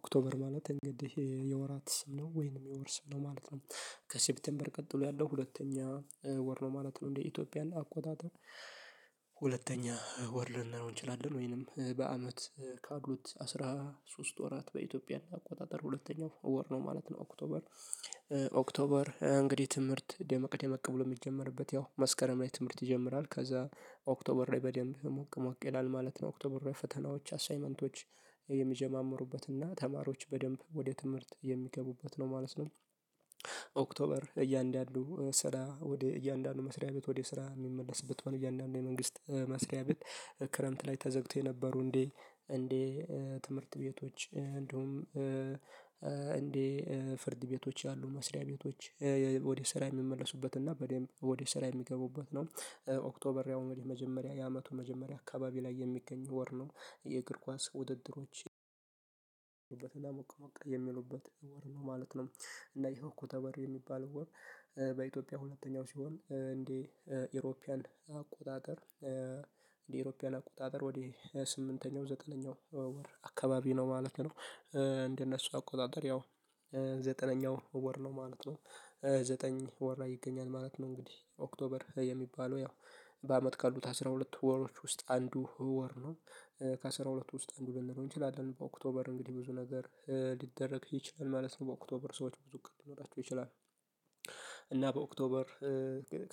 ኦክቶበር ማለት እንግዲህ የወራት ስም ነው ወይንም የወር ስም ነው ማለት ነው። ከሴፕቴምበር ቀጥሎ ያለው ሁለተኛ ወር ነው ማለት ነው እንደ ኢትዮጵያ አቆጣጠር። ሁለተኛ ወር ልንለው እንችላለን ወይንም በአመት ካሉት አስራ ሶስት ወራት በኢትዮጵያ አቆጣጠር ሁለተኛው ወር ነው ማለት ነው ኦክቶበር። ኦክቶበር እንግዲህ ትምህርት ደመቅ ደመቅ ብሎ እሚጀመርበት ያው መስከረም ላይ ትምህርት ይጀምራል ከዛ ኦክቶበር ላይ በደንብ ሞቅ ሞቅ ይላል ማለት ነው ኦክቶበር ላይ ፈተናዎች አሳይመንቶች የሚጀማምሩበትና ተማሪዎች በደንብ ወደ ትምህርት የሚገቡበት ነው ማለት ነው። ኦክቶበር እያንዳንዱ ስራ ወደ እያንዳንዱ መስሪያ ቤት ወደ ስራ እሚመለስበት እያንዳንዱ የመንግስት መስሪያ ቤት። ክረምት ላይ ተዘግቶ የነበሩ እንዴ እንዴ ትምህርት ቤቶች እንዲሁም እንዴ ፍርድ ቤቶች ያሉ መስሪያ ቤቶች ወደ ስራ የሚመለሱበት እና በደንብ ወደ ስራ የሚገቡበት ነው። ኦክቶበር ያው መጀመሪያ የአመቱ መጀመሪያ አካባቢ ላይ የሚገኝ ወር ነው የእግር ኳስ ውድድሮች። የሚሉበት ወር ነው ማለት ነው። እና ይኸው ኦክቶበር የሚባለው ወር በኢትዮጵያ ሁለተኛው ሲሆን እንዴ ኢሮፒያን አቆጣጠር እንዴ ኤሮፒያን አቆጣጠር ወደ ስምንተኛው ዘጠነኛው ወር አካባቢ ነው ማለት ነው። እንደ እነሱ አቆጣጠር ያው ዘጠነኛው ወር ነው ማለት ነው። ዘጠኝ ወር ላይ ይገኛል ማለት ነው እንግዲህ ኦክቶበር የሚባለው ያው በአመት ካሉት አስራ ሁለት ወሮች ውስጥ አንዱ ወር ነው። ከአስራ ሁለት ውስጥ እንዱ ልንለው እንችላለን በኦክቶበር እንግዲህ ብዙ ነገር ሊደረግ ይችላል ማለት ነው በኦክቶበር ሰዎች ብዙ ቀን ሊኖራቸው ይችላል። እና በኦክቶበር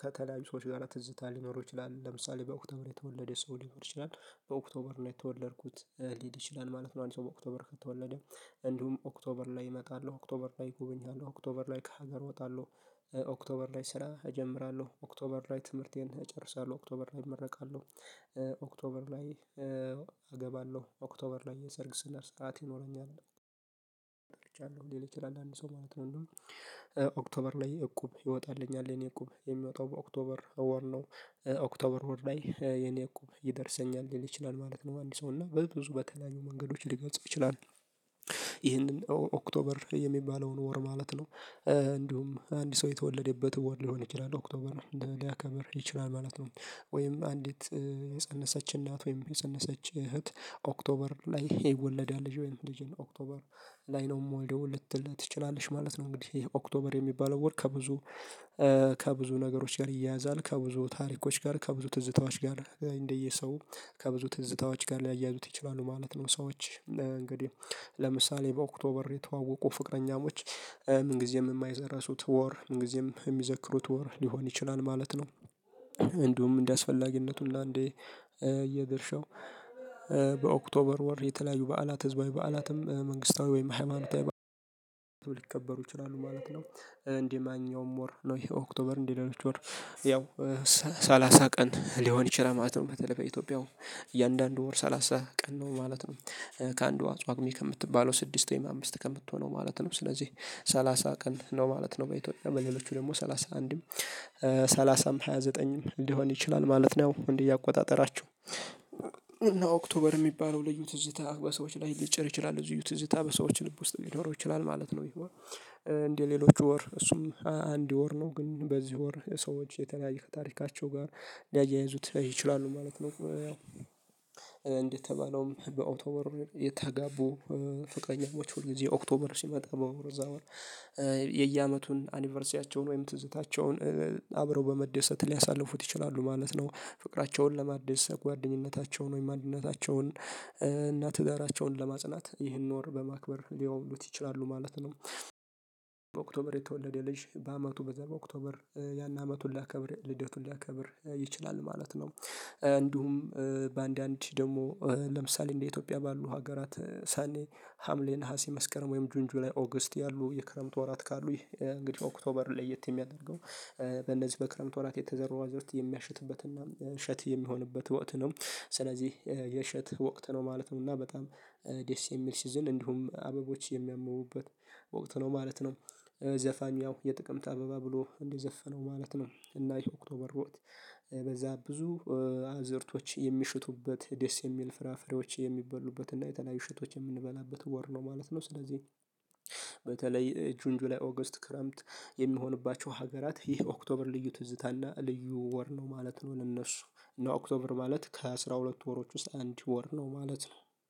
ከተለያዩ ሰዎች ጋራ ትዝታ ሊኖረው ይችላል ለምሳሌ በኦክቶበር የተወለደ ሰው ሊሆር ይችላል በኦክቶበር ነው የተወለድኩት ሊል ይችላል ማለት ነው። አንድ ሰው በኦክቶበር ከተወለደ እንዲሁም ኦክቶበር ላይ እመጣለሁ ኦክቶበር ላይ እጎበኛለሁ ኦክቶበር ላይ ከሀገር እወጣለሁ ኦክቶበር ላይ ስራ እጀምራለሁ ኦክቶበር ላይ ትምህርቴን እጨርሳለሁ ኦክቶበር ላይ እመረቃለሁ። ኦክቶበር ላይ አገባለሁ ኦክቶበር ላይ የሰርግ ስነር ሰዓት ይኖረኛል። እርጃለሁ ሊል ይችላል አንድ ሰው ማለት ነው እንዲሁም። ኦክቶበር ላይ እቁብ ይወጣልኛል የእኔ እቁብ የሚወጣው በኦክቶበር ወር ነው ኦክቶበር ወር ላይ የእኔ እቁብ ይደርሰኛል ሊል ይችላል ማለት ነው። አንድ ሰው እና በብዙ በተለያዩ መንገዶች ሊገልፁ ይችላሉ ይህንን ኦክቶበር የሚባለውን ወር ማለት ነው። እንዲሁም አንድ ሰው የተወለደበት ወር ሊሆን ይችላል ኦክቶበር ሊያከብር ይችላል ማለት ነው። ወይም አንዲት የፀነሰች እናት ወይም የፀነሰች እህት ኦክቶበር ላይ ይወለዳል ልጄ ወይንም ልጄን ኦክቶበር ላይ ነው እምወልደው ልትል ትችላለች ማለት ነው። እንግዲህ ይኸ ኦክቶበር የሚባለው ወር ከብዙ ከብዙ ነገሮች ጋር ይያያዛል ከብዙ ታሪኮች ጋር ከብዙ ትዝታዎች ጋር እንደየ ሰው ከብዙ ትዝታዎች ጋር ሊያያዙት ይችላሉ ማለት ነው። ሰዎች እንግዲህ ለምሳሌ በኦክቶበር የተዋወቁ ፍቅረኛሞች ምን ጊዜም እማይረሱት ወር ምን ጊዜም እሚዘክሩት ወር ሊሆን ይችላል ማለት ነው። እንዲሁም እንደ አስፈላጊነቱ እና እንደየ ድርሻው በኦክቶበር ወር የተለያዩ በዓላት ህዝባዊ በዓላትም መንግስታዊ ወይም ሃይማኖታዊ ሊከበሩ ይችላሉ ማለት ነው። እንደ ማንኛውም ወር ነው ይሄ ኦክቶበር እንደ ሌሎች ወር ያው ሰላሳ ቀን ሊሆን ይችላል ማለት ነው። በተለይ በኢትዮጵያው እያንዳንዱ ወር ሰላሳ ቀን ነው ማለት ነው። ከአንዱ ጳጉሜ ከምትባለው ስድስት ወይም አምስት ከምትሆነው ማለት ነው ስለዚህ ሰላሳ ቀን ነው ማለት ነው። በኢትዮጵያ በሌሎቹ ደግሞ ሰላሳ አንድም ሃያ ዘጠኝም ሊሆን ይችላል ማለት ነው እንደየ አቆጣጠራችሁ። እና ኦክቶበር እሚባለው ልዩ ትዝታ በሰዎች ላይ ሊጭር ይችላል ልዩ ትዝታ በሰዎች ልብ ውስጥ ሊኖረው ይችላል ማለት ነው። ይህ ወር እንደ ሌሎች ወር እሱም አንድ ወር ነው ግን በዚህ ወር ሰዎች የተለያየ ከታሪካቸው ጋር ሊያያይዙት ይችላሉ ማለት ነው። ያው እንደተባለውም በኦክቶበር የተጋቡ ፈቅረኛሞች ሁል ጊዜ ኦክቶበር ሲመጣ በእዛ ወር የየ ዓመቱን አኒቨርሲያቸውን ወይም ትዝታቸውን አብረው በመደሰት ሊያሳልፉት ይችላሉ ማለት ነው። ፍቅራቸውን ለማደስ ጓደኝነታቸውን ወይ ማንነታቸውን እና ትዳራቸውን ለማጽናት ይህን ወር በማክበር ሊያውሉት ይችላሉ ማለት ነው። በኦክቶበር የተወለደ ልጅ በአመቱ በዛ በኦክቶበር ያን ዓመቱን ሊያከብር ልደቱን ሊያከብር ይችላል ማለት ነው። እንዲሁም በአንዳንድ ደሞ ለምሳሌ እንደ ኢትዮጵያ ባሉ ሀገራት ሰኔ ሀምሌ ነሀሴ መስከረም ወይም ጁን ጁላይ ኦገስት ያሉ የክረምት ወራት ካሉ ይህ እንግዲህ ኦክቶበር ለየት የሚያደርገው በእነዚህ በክረምት ወራት የተዘሩ አዝዕርት የሚያሽትበትና እሸት የሚሆንበት ወቅት ነው። ስለዚህ የእሸት ወቅት ነው ማለት ነው። እና በጣም ደስ የሚል ሲዝን እንዲሁም አበቦች የሚያብቡበት ወቅት ነው ማለት ነው። ዘፋኙ ያው የጥቅምት አበባ ብሎ እንዲዘፈነው ማለት ነው እና ይሄ ኦክቶበር ወቅት በዛ ብዙ አዝእርቶች የሚያሽቱበት ደስ የሚል ፍራፍሬዎች የሚበሉበት እና የተለያዩ እሸቶች የምንበላበት ወር ነው ማለት ነው። ስለዚህ በተለይ ጁንጁ ላይ ኦገስት ክረምት የሚሆንባቸው ሀገራት ይህ ኦክቶበር ልዩ ትዝታ እና ልዩ ወር ነው ማለት ነው። ለእነሱ እና ኦክቶበር ማለት ከአሥራ ሁለት ወሮች ውስጥ አንድ ወር ነው ማለት ነው